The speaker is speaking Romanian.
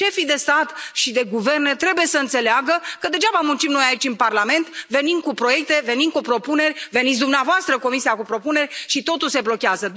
Șefii de stat și de guvern trebuie să înțeleagă că degeaba muncim noi aici, în Parlament, venim cu proiecte, venim cu propuneri, veniți dumneavoastră, Comisia, cu propuneri, și totul se blochează.